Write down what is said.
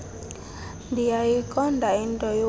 ndiyayiqonda into yokuba